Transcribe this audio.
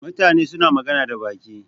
Mutane suna magana da baki.